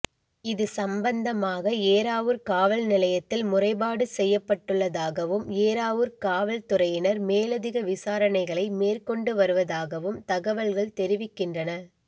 இது சம்பந்தமாக ஏறாவூர் காவல் நிலையத்தில் முறைப்பாடு செய்யப்பட்டுள்ளதாகவும் ஏறாவூர் காவற்துறையினர் மேலதிக விசாரணைகளை மேற்கொண்டு வருவதாகவும் தகவல்கள் தெரிவிக்கின்றன